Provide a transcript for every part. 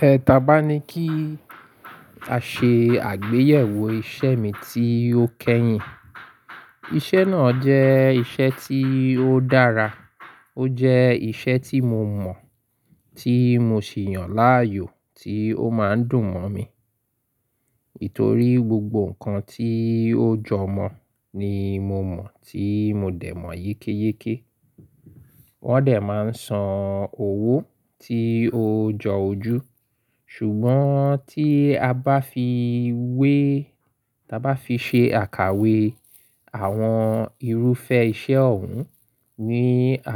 Ẹ ta bá ní kí a ṣe àgbéyẹ̀wò iṣẹ́ mi tí ó kẹ́yìn. Iṣẹ́ náà jẹ́ iṣẹ́ tí ó dára, ó jẹ́ iṣẹ́ tí mo mọ̀, tí mo sì yàn láàyò tí ó máa ń dùn mọ̀ mi. Nítorí gbogbo nǹkan tí ó jọ mọ̀ ni mo mọ̀ tí mo dẹ̀ mọ̀ yékéyéké. Wọ́n dẹ̀ máa ń san owó tí ó jọ ojú. Ṣùgbọ́n tí a bá fi wé, ta bá fi ṣe àkàwé àwọn irúfẹ́ iṣẹ́ ọ̀hún ní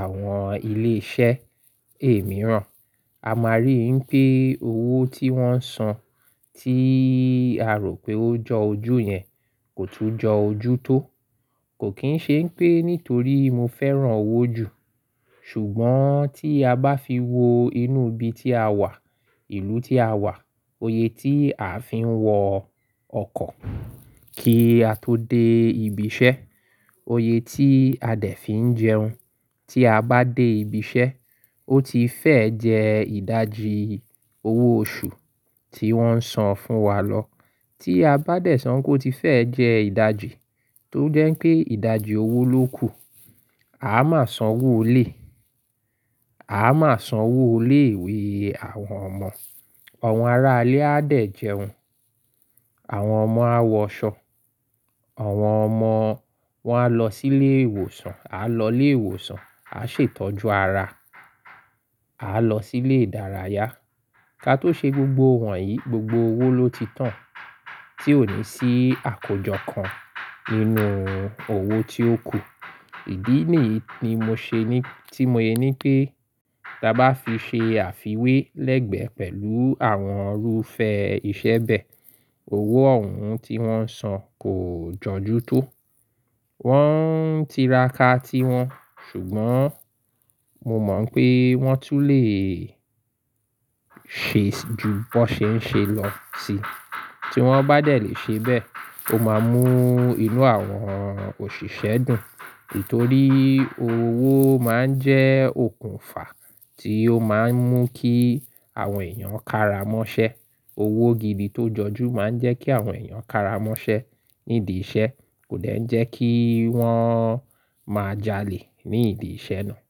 àwọn ilé iṣẹ́ èmíìràn, a máa rí pé owó tí wọ́n ń san tí a rò pé ó jọ ojú yẹn kò tún jọ ojú tó. Kò kín ṣe ń pé nítorí mo fẹ́ràn owó jù. Ṣùgbọ́n tí a bá fi wo inú ibi tí a wà, ìlú tí a wà, òye tí a fi ń wọ ọkọ̀ kí a tó dé ibi iṣẹ́, òye tí a dẹ̀ fi ń jẹun tí a bá dé ibi iṣẹ́, ó ti fẹ́ jẹ ìdajì owó oṣù tí wọ́n ń san fún wa lọ. Tí a bá dẹ̀ so pe oo ti fẹ́ jẹ ìdajì tó jẹ́ pé ìdajì owó ló kù, a máa san owó ilé, a máa san owó ilé ìwé àwọn ọmọ, awọ́n ará ilé a dẹ̀ jẹun, àwọn ọmọ á wọ aṣọ, àwọn ọmọ wọ́n á lọ sí ilé ìwòsàn, á lọ ilé ìwòsàn, á ṣètọ́jú ara, á lọ sí ilé ìdárayá. Ká tó ṣe gbogbo wọ̀nyí, gbogbo owó ló ti tán tí ò ní sí àkójọ kan nínú owó tí ó kù. Ìdí nìyí ni mo ṣe ní, tí mo yẹ ní pé ta bá fi ṣe àfiwé lẹ́gbẹ̀ẹ́ pẹ̀lú àwọn irúfẹ́ iṣẹ́ bẹ́ẹ̀, owó ọ̀hún tí wọ́n ń san kò jọ́jú tó. Wọ́n ń tiraka tiwọn, ṣùgbọ́n mo mọ̀ pé wọ́n tún lè ṣe ju bó ṣe ń ṣe lọ síi. Tí wọ́n bá dẹ̀ lè ṣe bẹ́ẹ̀, ó máa mú inú àwọn òṣìṣẹ́ dùn. Nítorí owó máa ń jẹ́ okùnfà tí ó máa ń mú kí àwọn èèyàn kára mọ́ṣẹ́. Owó gidi tó jọjú máa ń jẹ́ kí àwọn èèyàn kára mọ́ṣẹ́ nídi iṣẹ́, kò dẹ̀ jẹ́ kí wọ́n máa jalè nídi iṣẹ́ náà.